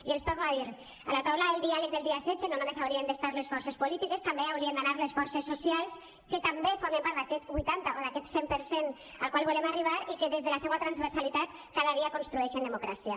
i els ho torno a dir a la taula del diàleg del dia setze no només hi haurien d’estar les forces polítiques també hi haurien d’anar les forces socials que també formen part d’aquest vuitanta o d’aquest cent per cent al qual volem arribar i que des de la seua transversalitat cada dia construeixen democràcia